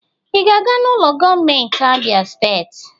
ị ga-aga n'ụlọ gọọmentị Abia steeti